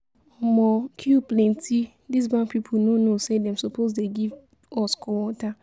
Omo, queue plenty, this bank people no know say dem suppose dey give us cold water